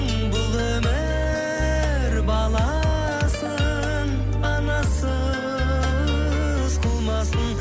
бұл өмір баласын анасыз қылмасын